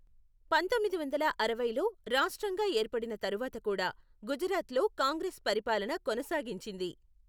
పంతొమ్మిది వందల అరవైలో రాష్ట్రంగా ఏర్పడిన తరువాత కూడా గుజరాత్లో కాంగ్రెస్ పరిపాలన కొనసాగించింది.